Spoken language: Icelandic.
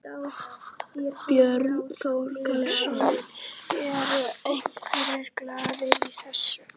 Björn Þorláksson: Eru einhverjir galdrar í þessu?